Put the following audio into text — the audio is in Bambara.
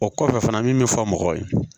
O kɔfɛ fana min bɛ fɔ mɔgɔw ye